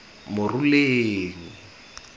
moruleng